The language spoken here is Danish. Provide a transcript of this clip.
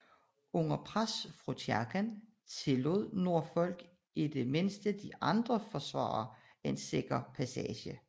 Under pres fra kirken tillod Norfolk i det mindste de andre forsvarere en sikker passage